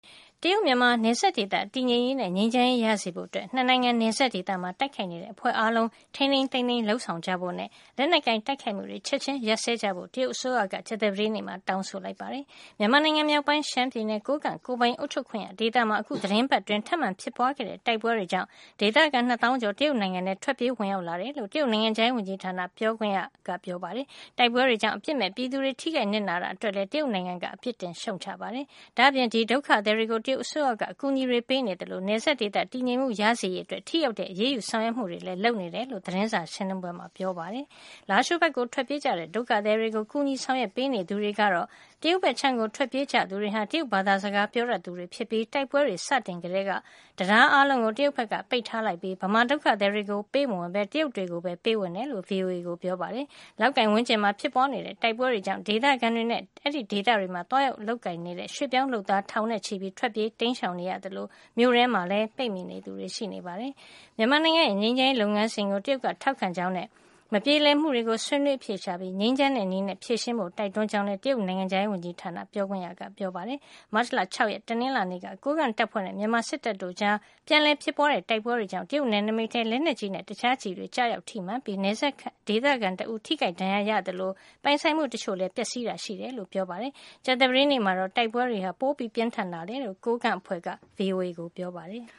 တရုတ်-မြန်မာ နယ်စပ်ဒေသ တည်ငြိမ်ရေးနဲ့ ငြိမ်းချမ်းရေးရစေဖို့ ၂ နိုင်ငံ နယ်စပ်ဒေသမှာ တိုက်ခိုက်နေတဲ့ အဖွဲ့အားလုံး ထိန်းထိန်းသိမ်းသိမ်း လုပ်ဆောင်ကြဖို့နဲ့ လက်နက်ကိုင်တိုက်ခိုက်မှုတွေ ချက်ချင်းရပ်စဲကြဖို့ တရုတ်အစိုးရက ကြာသပတေးနေ့မှာ တောင်းဆိုလိုက်ပါတယ်။ မြန်မာနိုင်ငံမြောက်ပိုင်း ရှမ်းပြည်နယ် ကိုးကန့် ကိုယ်ပိုင်အုပ်ချုပ်ခွင့်ရဒေသမှာ အခု သီတင်းပတ်အတွင်း ထပ်မံ ဖြစ်ပွါးခဲ့တဲ့ တိုက်ပွဲတွေ ကြောင့် ဒေသခံ ၂ သောင်းကျော် တရုတ်နိုင်ငံထဲ ထွက်ပြေးဝင်ရောက်လာတယ်လို့ တရုတ် နိုင်ငံခြားရေးဝန်ကြီးဌာန ပြောခွင့်ရ Geng Shuang ကပြောပါတယ်။ တိုက်ပွဲတွေကြောင့် အပြစ်မဲ့ပြည်သူတွေ ထိခိုက်နစ်နာတာအတွက်လည်း တရုတ်နိုင်ငံက အပြစ်တင် ရှုံ့ချပါတယ်။ ဒါ့အပြင် ဒီဒုက္ခသည်တွေကို တရုတ်အစိုးရက အကူညီတွေ ပေးနေ သလို နယ်စပ်ဒေသ တည်ငြိမ်မှု ရစေရေးအတွက် ထိရောက်တဲ့ အရေးယူ ဆောင်ရွက်မှုတွေ လုပ်နေတယ်လို့လည်း သတင်းစာ ရှင်းလင်းပွဲမှာပြောပါတယ်။ လားရှိုးဘက်ကို ထွက်ပြေးကြတဲ့ ဒုက္ခသည်တွေကို ကူညီဆောင်ရွက်ပေး နေသူတွေကတော့ တရုတ်ဘက်ခြမ်းကို ထွက်ပြေးကြသူတွေဟာ တရုတ်ဘာသာ စကား ပြောတတ်သူတွေ ဖြစ်ပြီး တိုက်ပွဲတွေ စတင်ကတည်းက တံတားအားလုံးကို တရုတ်ဘက်က ပိတ်ထားလိုက်ပြီး မြန်မာ ဒုက္ခသည်တွေကို ပေးမဝင်ပဲ တရုတ်တွေကိုပဲ ပေးဝင်တယ်လို့ VOA ကိုပြောပါတယ်။ လောက်ကိုင်ဝန်းကျင်မှာ ဖြစ်ပွါးနေတဲ့ တိုက်ပွဲတွေ ကြောင့် ဒေသခံတွေနဲ့ အဲဒီဒေသတွေမှာ သွားရောက်အလုပ်လုပ်ကိုင်နေတဲ့ ရွှေ့ပြောင်း လုပ်သား ထောင်နဲ့ ချီပြီး ထွက်ပြေးတိမ်းရှောင် နေကြ သလို မြို့ထဲမှာ ပိတ်မိနေသူတွေလည်း ရှိနေပါတယ်။ မြန်မာနိုင်ငံက ငြိမ်းချမ်းရေး လုပ်ငန်းစဉ်ကို တရုတ်က ထောက်ခံကြောင်းနဲ့ မပြေလည်မှုတွေကို ဆွေးနွေးအဖြေရှာပြီး ငြိမ်းချမ်းတဲ့နည်းနဲ့ ဖြေရှင်းကြဖို့ တိုက်တွန်း ကြောင်းလည်း တရုတ် နိုင်ငံခြားရေးဝန်ကြီးဌာန ပြောခွင့်ရက ပြောပါတယ်။ မတ်လ ၆ ရက် တနင်္လာနေ့က ကိုးကန့်တပ်ဖွဲ့နဲ့ မြန်မာစစ်တပ်တို့ကြား ပြန်လည် ဖြစ်ပွါးခဲ့တဲ့ တိုက်ပွဲတွေကြောင့် တရုတ် နယ်နိမိတ်ထဲ လက်နက်ကြီးနဲ့ တခြား ကျည်ဆံတွေ ကျရောက်ထိမှန်ခဲ့ပြီး နယ်စပ်ဒေသခံတဦး ထိခိုက်ဒဏ်ရာရခဲ့သလို ပိုင်ဆိုင်မှု တချို့ ပျက်စီးတာလည်း ရှိခဲ့တယ်လို့လည်း ပြောပါတယ်။ ကြာသပတေးနေ့မှာတော့ လောက်ကိုင်ဝန်းကျင်မှာ တိုက်ပွဲတွေ ပြင်းထန်ခဲ့တယ်လို့ အစိုးရတပ်တွေနဲ့ တိုက်ခိုက်နေတဲ့ မြောက်ပိုင်း စစ်ရေးမဟာမိတ်အဖွဲ့က VOA ကို ပြောပါတယ်။